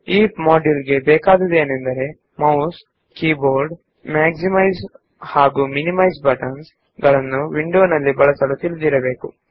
ಈ ಟ್ಯುಟೋರಿಯಲ್ ಗೆ ಬೇಕಾಗಿರುವ ಅಗತ್ಯತೆಗಳೇನೆಂದರೆ ಮೌಸ್ ಮತ್ತು ಕೀಬೋರ್ಡ್ ನ ಬಳಕೆ ಹಾಗೂ ವಿಂಡೋನಲ್ಲಿ ಮೆಗ್ಸಿಮೈಸ್ ಮತ್ತು ಮಿನಿಮೈಸ್ ಬಟನ್ ಗಳ ಬಳಕೆ